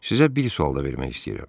Sizə bir sual da vermək istəyirəm.